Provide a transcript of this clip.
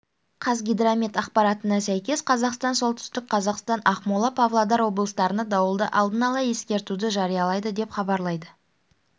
қазгидромет ақпаратына сәйкес астана солтүстік қазақстан ақмола павлодар облыстарына дауылды алдын ала ескертуді жариялады деп хабарлайды